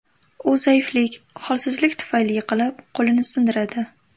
U zaiflik, holsizlik tufayli yiqilib, qo‘lini sindiradi.